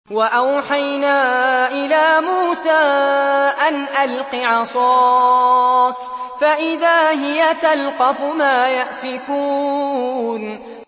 ۞ وَأَوْحَيْنَا إِلَىٰ مُوسَىٰ أَنْ أَلْقِ عَصَاكَ ۖ فَإِذَا هِيَ تَلْقَفُ مَا يَأْفِكُونَ